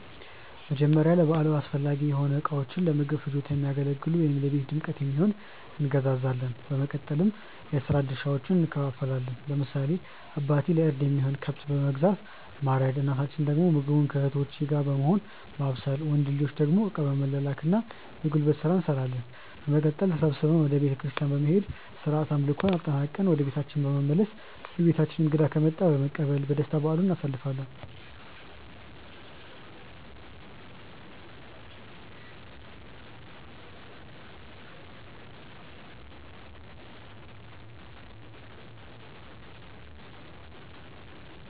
መጀመርያ ለበዓሉ አስፈላጊ የሆኑ እቃዎችን(ለምግብ ፍጆታ የሚያገለግሉ ወይም ለቤት ድምቀት የሚሆን)እንገዛዛለን። በማስቀጠል የስራ ድርሻዎችን እንከፋፈላለን። ለምሳሌ አባቴ ለእርድ የሚሆነውን ከብት በመግዛት ማረድ እናታችን ደግሞ ምግቡን ከእህቶቼ ጋር በመሆን ማብሰል። ወንድ ልጆች ደግሞ እቃ በመላላክ እና የጉልበት ስራ እንሰራለን። በመቀጠል ተሰብስበን ወደ ቤተክርስቲያን በመሄድ ስርዓተ አምልኮውን አጠናቅቀን ወደ ቤታችን በመመለስ በቤታችን እንግዳ ከመጣ በመቀበል በደስታ በዓሉን እናሳልፋለን።